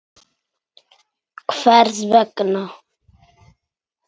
Hvers vegna.